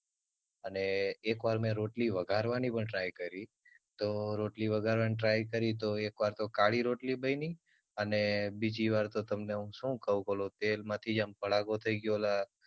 અને એક વાર મે રોટલી વઘારવાની પણ try કરી તો રોટલી વઘારવાની try કરી તો એક વાર તો કાળી રોટલી બની અને બીજીવાર તો તમને હું શું કવ કે ઓલું તેલ માંથી આમ ભડાકો થય ગ્યો અલા